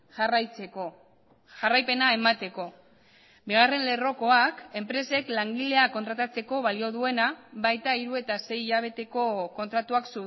jarraitzeko jarraipena emateko bigarren lerrokoak enpresek langileak kontratatzeko balio duena baita hiru eta sei hilabeteko kontratuak